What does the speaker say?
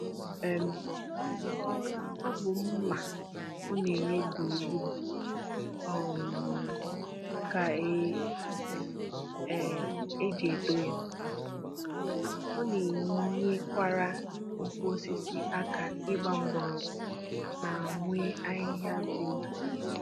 um Ọ bụ mma ọ na-enye gburugburu um ka e um ji adọ ya. Ọ na-enyekwara ukwu osisi aka ịgba mgbọrọgwụ ma nwee ahịhịa dị ndụ